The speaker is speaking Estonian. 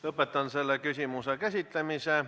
Lõpetan selle küsimuse käsitlemise.